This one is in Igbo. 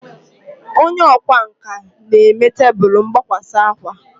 Onye ọkwá nkà na-eme tebụl mgbakwasa akwa